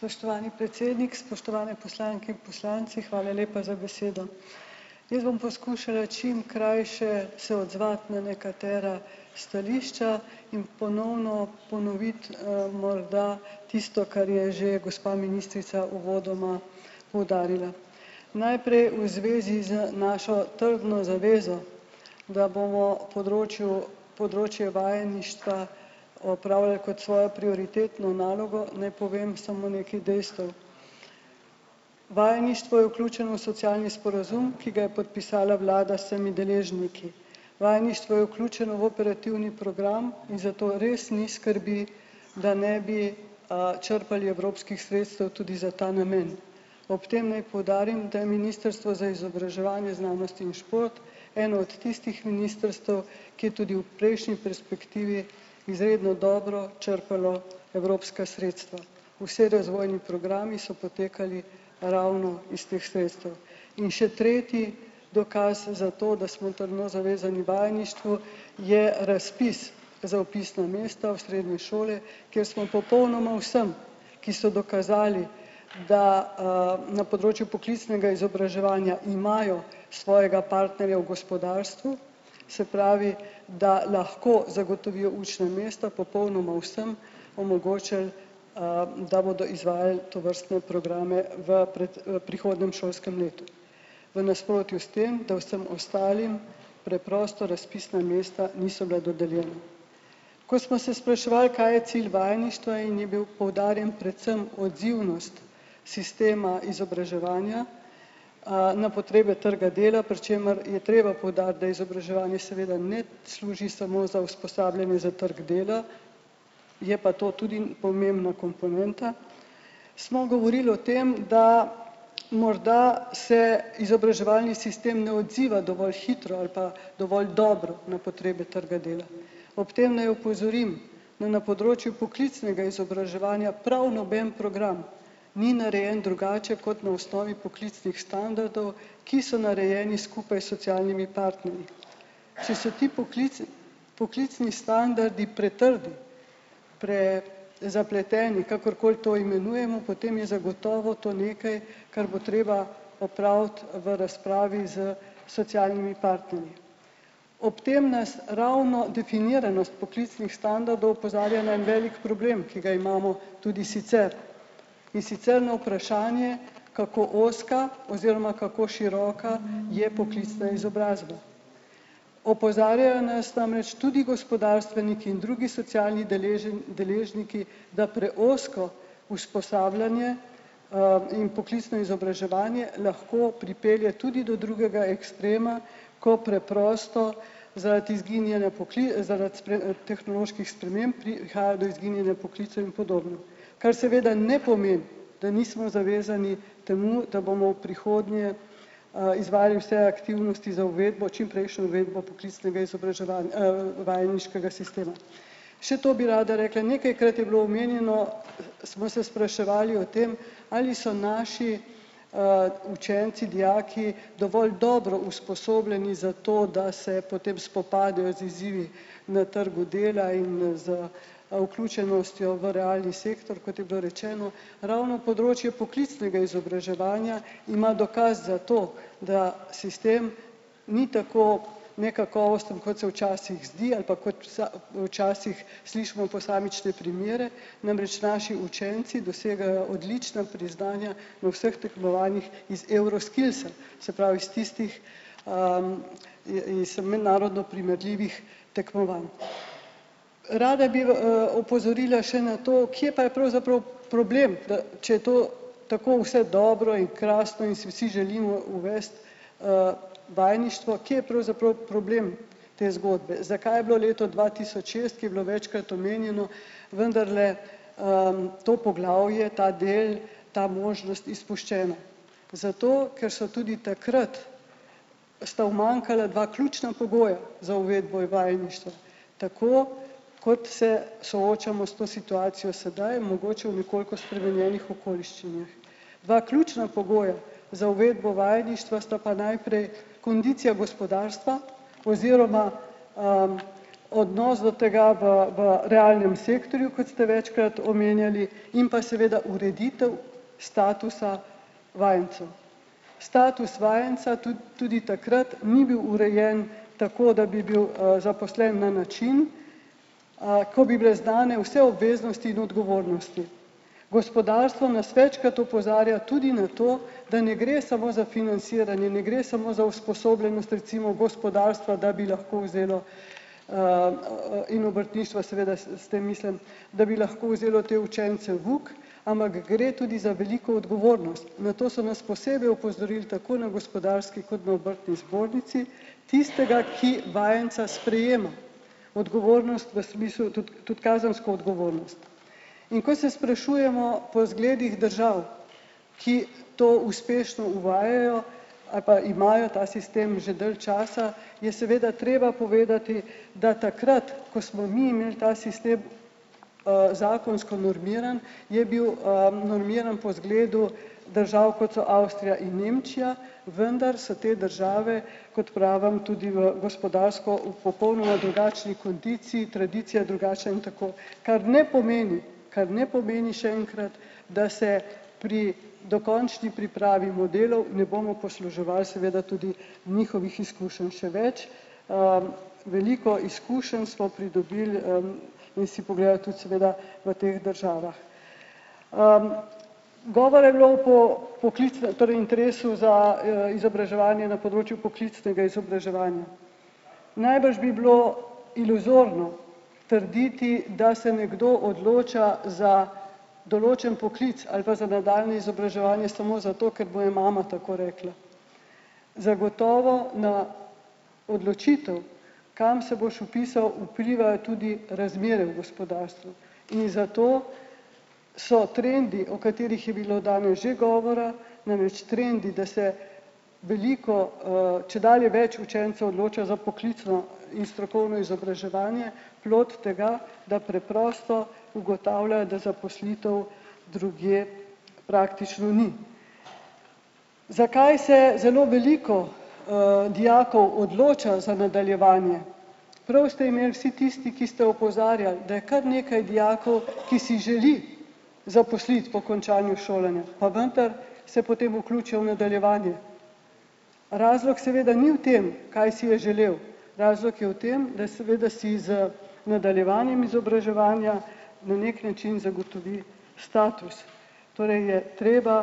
Spoštovani predsednik, spoštovane poslanke in poslanci, hvala lepa za besedo. Jaz bom poskušala čim krajše se odzvati na nekatera stališča. In ponovno ponoviti, morda tisto, kar je že gospa ministrica uvodoma poudarila. Najprej v zvezi z našo trdno zavezo. Da bomo področju področje vajeništva opravljali kot svojo prioritetno nalogo, naj povem samo nekaj dejstev. Vajeništvo je vključeno v socialni sporazum, ki ga je podpisala vlada smi deležniki. Vajeništvo je vključeno v operativni program in zato res ni skrbi, da ne bi, črpali evropskih sredstev tudi za ta namen. Ob tem naj poudarim, da je ministrstvo za izobraževanje, znanostjo in šport eno od tistih ministrstev, ki je tudi v prejšnji perspektivi izredno dobro črpalo evropska sredstva. Vsi razvojni programi so potekali ravno iz teh sredstev. In še tretji dokaz za to, da smo trdno zavezani vajeništvu, je razpis za vpisno mesto v srednji šoli, kjer smo popolnoma vsem, ki so dokazali, da, na področju poklicnega izobraževanja imajo svojega partnerja v gospodarstvu, se pravi, da lahko zagotovijo učna mesta popolnoma vsem, omogočili, da bodo izvajali tovrstne programe v pred, prihodnjem šolskem letu. V nasprotju s tem, da vsem ostalim preprosto razpisna mesta niso bila dodeljena. Ko smo se spraševali, kaj je cilj vajeništva, in je bila poudarjena predvsem odzivnost sistema izobraževanja, na potrebe trga dela, pri čemer je treba povedati, da izobraževanje seveda ne služi samo za usposabljanje za trg dela, je pa to tudi pomembna komponenta. Smo govorili o tem, da morda se izobraževalni sistem ne odziva dovolj hitro ali pa dovolj dobro na potrebe trga dela. Ob tem ne opozorim, naj na področju poklicnega izobraževanja prav noben program ni narejen drugače kot na osnovi poklicnih standardov, ki so narejeni skupaj s socialnimi partnerji. Če so ti poklici poklicni standardi pretrdi, pre- zapleteni, kakorkoli to imenujemo, potem je zagotovo to nekaj, kar bo treba opraviti v razpravi s socialnimi partnerji. Ob tem nas ravno definiranost poklicnih standardov opozarja na en velik problem, ki ga imamo tudi sicer. In sicer na vprašanje, kako ozka oziroma kako široka je poklicna izobrazba. Opozarjajo nas namreč tudi gospodarstveniki in drugi socialni deležniki, da preozko usposabljanje, in poklicno izobraževanje lahko pripelje tudi do drugega ekstrema, ko preprosto zaradi izginjanja zaradi tehnoloških sprememb prihaja do izginjanja poklicev in podobno. Kar seveda ne pomeni, da nismo zavezani temu, da bomo v prihodnje, izvajali vse aktivnosti za uvedbo, čimprejšnjo uvedbo poklicnega izobraževanja, vajeniškega sistema. Še to bi rada rekla, nekajkrat je bilo omenjeno, smo se spraševali o tem, ali so naši, učenci, dijaki dovolj dobro usposobljeni za to, da se potem spopadajo z izzivi na trgu dela in z vključenostjo v realni sektor, kot je bilo rečeno, ravno področje poklicnega izobraževanja ima dokaz za to, da sistem ni tako nekakovosten kot se včasih zdi ali pa kot včasih slišimo posamične primere. Namreč naši učenci dosegajo odlična priznanja v vseh tekmovanjih iz Euroskillsa. Se pravi, iz tistih, mednarodno primerljivih tekmovanj. Rada bi opozorila še na to, kje pa pravzaprav problem, da če je to tako vse dobro in krasno in si vsi želimo uvesti, vajeništva, ki je pravzaprav problem te zgodbe. Zakaj je bilo leto dva tisoč šest, ki je bilo večkrat omenjeno, vendarle, to poglavje, ta del ta možnost izpuščena. Zato, ker so tudi takrat sta umanjkala dva ključna pogoja za uvedbo vajeništva, tako kot se soočamo s to situacijo sedaj, mogoče v nekoliko spremenjenih okoliščinah. Dva ključna pogoja za uvedbo vajeništva sta pa najprej kondicija gospodarstva oziroma, odnos do tega v v realnem sektorju, kot ste večkrat omenjali, in pa seveda ureditev statusa vajencev. Status vajenca tudi takrat ni bil urejen tako, da bi bil, zaposlen na način, ko bi bile znane vse obveznosti in odgovornosti. Gospodarstvo nas večkrat opozarja tudi na to, da ne gre samo za financiranje, ne gre samo za usposobljenost recimo gospodarstva, da bi lahko vzelo, in obrtništva, seveda s tem mislim, da bi lahko vzelo te učence v uk, ampak gre tudi za veliko odgovornost. Na to so nas posebej opozorili tako na gospodarski kot na obrtni zbornici, tistega, ki vajenca sprejema odgovornost v smislu tudi tudi kazensko odgovornost. In ko se sprašujemo po zgledih držav, ki to uspešno uvajajo ali pa imajo ta sistem že dalj časa, je seveda treba povedati, da takrat, ko smo mi imeli ta sistem, zakonsko normiran, je bil, normiran po izgledu držav, kot so Avstrija in Nemčija, vendar so te države, kot pravim tudi v gospodarsko v popolnoma drugačni kondiciji, tradicija drugačna in tako. Kar ne pomeni, kar ne pomeni še enkrat, da se pri dokončni pripravi modelov ne bomo posluževali seveda tudi njihovih izkušenj še več. Veliko izkušenj smo pridobili, v teh državah. Govora je bilo po poklicnem torej interesu za, izobraževanje na področju poklicnega izobraževanja. Najbrž bi bilo iluzorno trditi, da se nekdo odloča za določen poklic ali pa za nadaljnje izobraževanje samo zato, ker mu je mama tako rekla. Zagotovo na odločitev, kam se boš vpisal vplivajo tudi razmere v gospodarstvu. In zato so trendi, o katerih je bilo danes že govora, namreč trendi, da se veliko, čedalje več učencev odloča za poklicno in strokovno izobraževanje. Plod tega, da preprosto ugotavljajo, da zaposlitev drugje praktično ni. Zakaj se zelo veliko, dijakov odloča za nadaljevanje? Prav ste imeli vsi tisti, ki ste opozarjali, da je kar nekaj dijakov, ki si želi zaposliti po končanju šolanja. Pa vendar se potem vključijo v nadaljevanje. Razlog seveda ni v tem, kaj si je želel. Razlog je v tem, da seveda si z nadaljevanjem izobraževanja na neki način zagotovi status. Torej je treba,